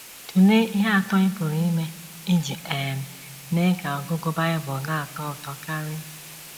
Tụlee ihe atọ ị pụrụ ime iji um mee ka ọgụgụ Bible na - atọ ụtọ karị.